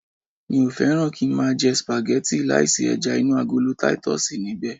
Mi ò fẹ́ràn kí ń máa jẹ sìpàgẹ́tì láì sí ẹja inú agolo titus níbẹ̀